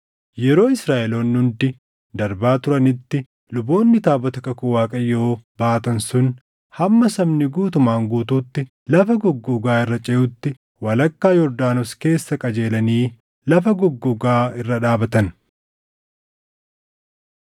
Yeroo Israaʼeloonni hundi darbaa turanitti luboonni taabota kakuu Waaqayyoo baatan sun hamma sabni guutumaan guutuutti lafa goggogaa irra ceʼutti walakkaa Yordaanos keessa qajeelanii lafa goggogaa irra dhaabatan.